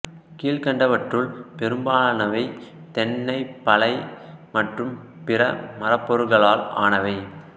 கீழ்கண்டவற்றுள் பெரும்பாலானவை தென்னை பலை மற்றும் பிற மரப் பொருகளால் ஆனவை